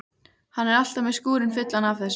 Hann er alltaf með skúrinn fullan af þessu.